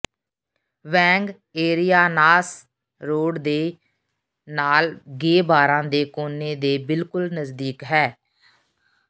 ਵੈਂਗ ਏਰਿਆਨਾਸ ਰੋਡ ਦੇ ਨਾਲ ਗੇ ਬਾਰਾਂ ਦੇ ਕੋਨੇ ਦੇ ਬਿਲਕੁਲ ਨਜ਼ਦੀਕ ਹੈ